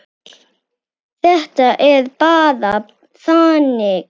Þetta er bara þannig.